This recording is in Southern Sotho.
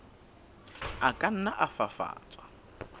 a ka nna a fafatswa